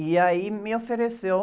E aí me ofereceu